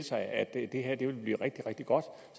sig at det her ville blive rigtig rigtig godt